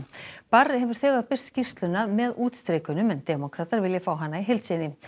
barr hefur þegar birt skýrsluna með útstrikunum en demókratar vilja fá hana í heild sinni